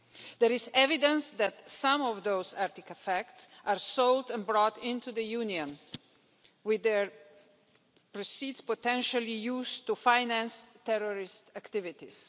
There is evidence that some of those artefacts are sold and brought into the Union, with their proceeds potentially used to finance terrorist activities.